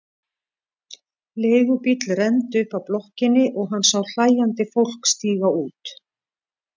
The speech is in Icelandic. Leigubíll renndi upp að blokkinni og hann sá hlæjandi fólk stíga út.